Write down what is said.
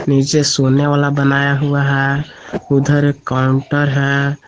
नीचे सोने वाला बनाया हुआ है उधर एक काउंटर है।